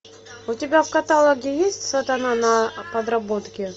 у тебя в каталоге есть сатана на подработке